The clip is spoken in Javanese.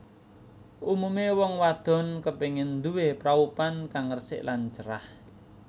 Umumé wong wadon kepengin nduwé praupan kang resik lan cerah